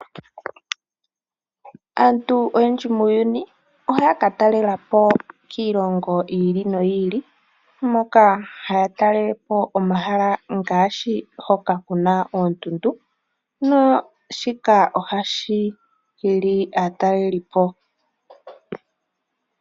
Aantu oyendji muuyuuni ohayaka talelapo kiilongo yiili noyiili moka haya talelepo omahala ngaashi hoka kuna oondundu, shika ohashi hili aatalelipo.